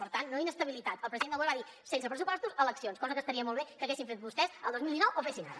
per tant no inestabilitat el president del govern va dir sense pressupostos eleccions cosa que estaria molt bé que haguessin fet vostès el dos mil dinou o fessin ara